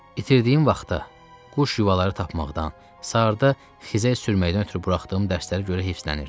İtirdiyim vaxta, quş yuvaları tapmaqdan, saatda xizəy sürməkdən ötrü buraxdığım dərslərə görə heyfislənirdim.